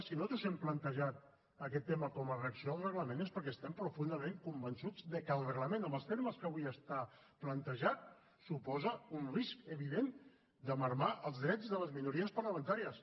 si nosaltres hem plantejat aquest tema com a reacció al reglament és perquè estem profundament convençuts de que el reglament en els termes que avui està plantejat suposa un risc evident de minvar els drets de les minories parlamentàries